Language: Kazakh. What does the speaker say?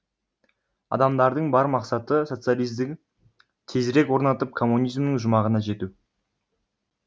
адамдардың бар мақсаты социализді тезірек орнатып коммунизмнің жұмағына жету